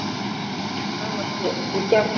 Flestir slá ekki í gegn.